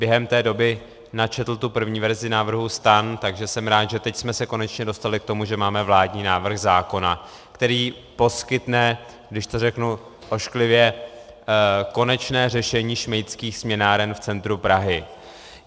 Během té doby načetl tu první verzi návrhu STAN, takže jsem rád, že teď jsme se konečně dostali k tomu, že máme vládní návrh zákona, který poskytne, když to řeknu ošklivě, konečné řešení šmejdských směnáren v centru Prahy.